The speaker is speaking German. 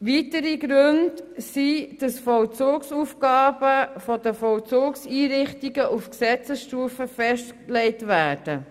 Weitere Gründe sind, dass Vollzugsaufgaben von den Vollzugseinrichtungen auf Gesetzesstufe festgelegt werden.